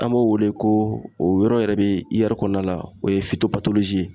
An b'o wele ko o yɔrɔ yɛrɛ bɛ kɔnɔna la o ye